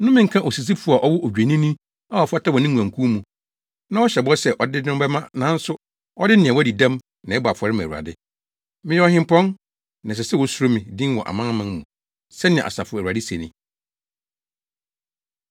“Nnome nka osisifo a ɔwɔ odwennini a ɔfata wɔ ne nguankuw mu, na ɔhyɛ bɔ sɛ ɔde no bɛma nanso ɔde nea wadi dɛm na ɛbɔ afɔre ma Awurade. Meyɛ ɔhempɔn, na ɛsɛ sɛ wosuro me din wɔ amanaman mu,” sɛnea Asafo Awurade se ni.